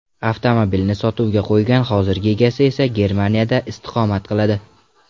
Avtomobilni sotuvga qo‘ygan hozirgi egasi esa Germaniyada istiqomat qiladi.